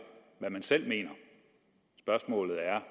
hvad man selv mener spørgsmålet er